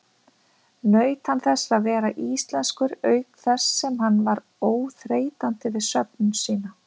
Naut hann þess að vera íslenskur auk þess sem hann var óþreytandi við söfnun sína.